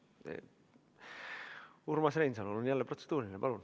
Urmas Reinsalul on jälle protseduuriline küsimus.